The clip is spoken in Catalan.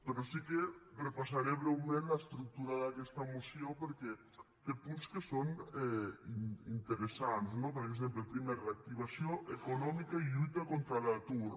però sí que repassaré breument l’estructura d’aquesta moció perquè té punts que són interessants no per exemple primer reactivació econòmica i lluita contra l’atur